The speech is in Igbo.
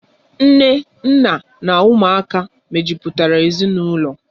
Nne, nna na ụmụaka mejupụtara ezinaụlọ.